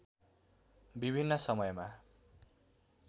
विभिन्न समयमा